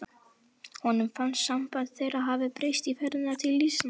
Honum fannst samband þeirra hafa breyst í ferðinni til Íslands.